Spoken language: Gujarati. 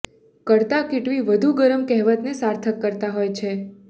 કરતા કીટવી વધુ ગરમ કહેવતને સાર્થક કરતા હોય છે